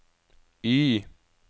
Y